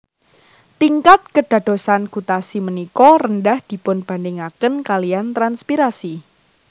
Tingkat kédadosan gutasi ménika rendah dipunbandingakén kaliyan transpirasi